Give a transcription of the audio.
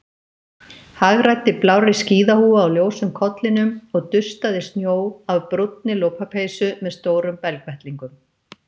Hagræddi blárri skíðahúfu á ljósum kollinum og dustaði snjó af brúnni lopapeysu með stórum belgvettlingum.